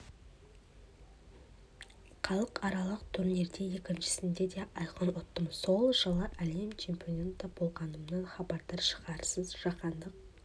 халықаралық турнирде екіншісінде де айқын ұттым сол жылы әлем чемпионы да болғанымнан хабардар шығарсыз жаһандық